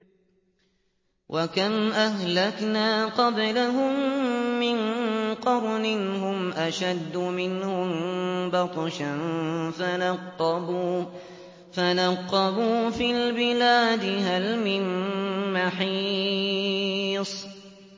وَكَمْ أَهْلَكْنَا قَبْلَهُم مِّن قَرْنٍ هُمْ أَشَدُّ مِنْهُم بَطْشًا فَنَقَّبُوا فِي الْبِلَادِ هَلْ مِن مَّحِيصٍ